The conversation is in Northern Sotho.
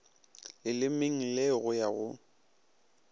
lelemeng le go ya go